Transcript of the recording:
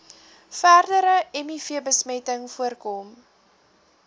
verdere mivbesmetting voorkom